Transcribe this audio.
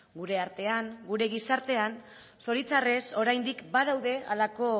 gure artean gure gizartean zoritxarrez oraindik badaude horrelako